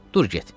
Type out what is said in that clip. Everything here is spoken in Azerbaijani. Dur get.